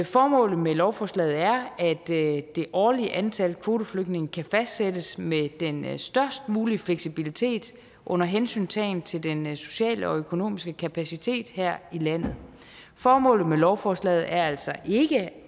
formålet med lovforslaget er at det årlige antal kvoteflygtninge kan fastsættes med den størst mulige fleksibilitet under hensyntagen til den sociale og økonomiske kapacitet her i landet formålet med lovforslaget er altså ikke at